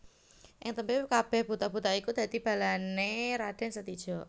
Ing tembé kabèh buta buta iku dadi balané Raden Setija